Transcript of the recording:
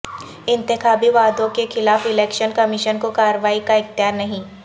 انتخابی وعدوں کے خلاف الیکشن کمیشن کو کارروائی کا اختیار نہیں